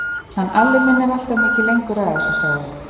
Hann Alli minn er alltaf mikið lengur að þessu, sagði hún.